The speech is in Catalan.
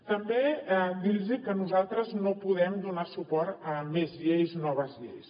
també dir los que nosaltres no podem donar suport a més lleis noves lleis